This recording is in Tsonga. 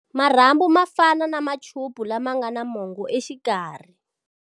Marhambu ma fana na machupu lama nga na mongo exikarhi.